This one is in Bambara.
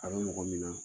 A bɛ mɔgɔ min na